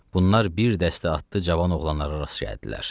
Bunlar bir dəstə atlı cavan oğlanlara rast gəldilər.